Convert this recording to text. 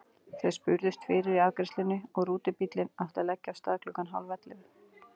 Þau spurðust fyrir í afgreiðslunni og rútubíllinn átti að leggja af stað klukkan hálf ellefu.